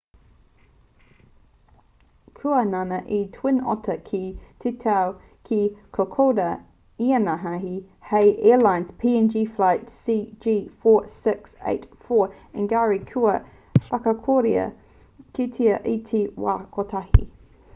kua ngana te twin otter ki te tau ki kokoda inanahi hei airlines png flight cg4684 engari kua whakakorea kētia i te wā kotahi